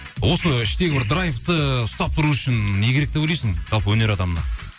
осы іштегі бір драйвты ұстап тұру үшін не керек деп ойлайсың жалпы өнер адамына